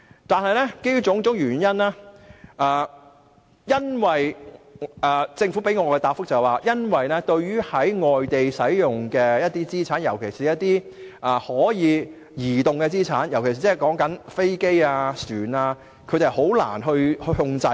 但是，政府向我們提供的答覆是，對於在外地使用的資產，特別是可以移動的資產，即是飛機或船隻，政府是難以控制的。